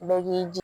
Bɛɛ k'i